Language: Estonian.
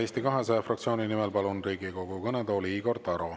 Eesti 200 fraktsiooni nimel palun Riigikogu kõnetooli Igor Taro.